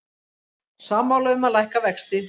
Sammála um að lækka vexti